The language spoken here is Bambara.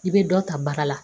I bɛ dɔ ta bara la